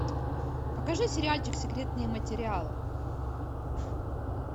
покажи сериальчик секретные материалы